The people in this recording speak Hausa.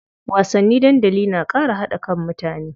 Wasanni dandali na ƙara haɗa kan mutane.